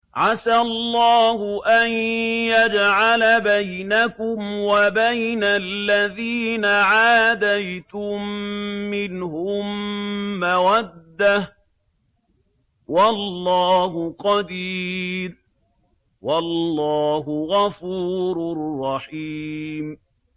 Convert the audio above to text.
۞ عَسَى اللَّهُ أَن يَجْعَلَ بَيْنَكُمْ وَبَيْنَ الَّذِينَ عَادَيْتُم مِّنْهُم مَّوَدَّةً ۚ وَاللَّهُ قَدِيرٌ ۚ وَاللَّهُ غَفُورٌ رَّحِيمٌ